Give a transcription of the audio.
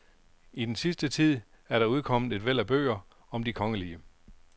I den sidste tid er der udkommet et væld af bøger om de kongelige.